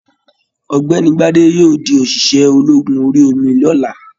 Ọ̀gbẹ́ni Gbade yóò di oṣiṣẹ ológun orí omi l'ọla.